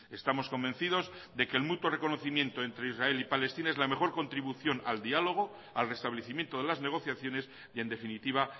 estamos convencidos de que el mutuo reconocimiento entre israel y palestina es la mejor contribución al diálogo al restablecimiento de las negociaciones y en definitiva